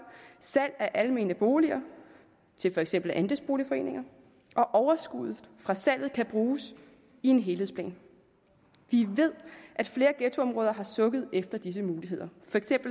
salg af almene boliger til for eksempel andelsboligforeninger og overskuddet fra salget kan bruges i en helhedsplan vi ved at flere ghettoområder har sukket efter disse muligheder